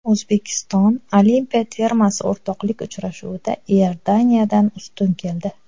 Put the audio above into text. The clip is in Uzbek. O‘zbekiston olimpiya termasi o‘rtoqlik uchrashuvida Iordaniyadan ustun keldi.